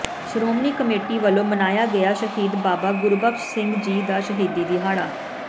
Shiromani committee ਵੱਲੋਂ ਮਨਾਇਆ ਗਿਆ ਸ਼ਹੀਦ ਬਾਬਾ ਗੁਰਬਖਸ਼ ਸਿੰਘ ਜੀ ਦਾ ਸ਼ਹੀਦੀ ਦਿਹਾੜਾ